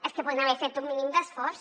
és que podrien haver fet un mínim d’esforç